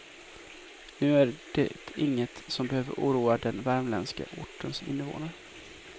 Nu är det inget som behöver oroa den värmländska ortens invånare.